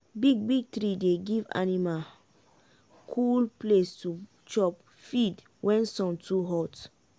big big tree dey give anima cool place to chop feed wen sun too hot.